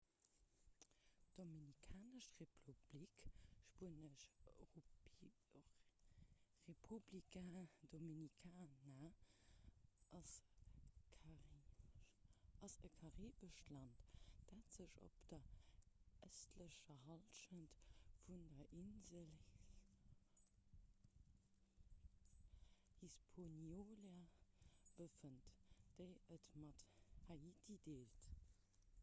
d'dominikanesch republik spuenesch: república dominicana ass e karibescht land dat sech op der ëstlecher hallschent vun der insel hispaniola befënnt déi et mat haiti deelt